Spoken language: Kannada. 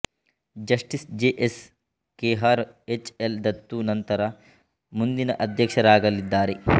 justice J S Khehar H L Dattu ನಂತರ ಮುಂದಿನ ಅಧ್ಯಕ್ಷರಾಗಲಿದ್ದಾರೆ